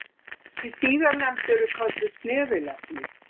Þessi síðarnefndu eru kölluð snefilefni.